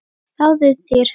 Fáðu þér hund.